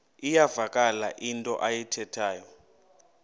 iyavakala into ayithethayo